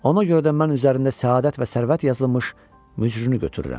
Ona görə də mən üzərində səadət və sərvət yazılmış mücrünü götürürəm.